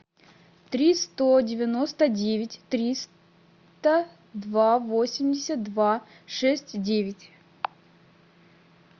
три сто девяносто девять триста два восемьдесят два шесть девять